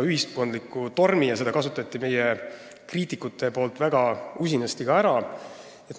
ühiskondliku tormi, mida meie kriitikud ka väga usinasti ära kasutasid.